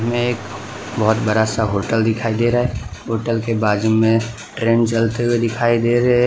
एक बहुत बड़ा सा होटल दिखाई दे रहा है। होटल के बाजू में ट्रेन चलते हुए दिखाई दे रहे हैं।